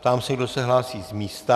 Ptám se, kdo se hlásí z místa.